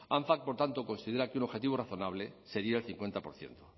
anfac por tanto considera que un objetivo razonable sería el cincuenta por ciento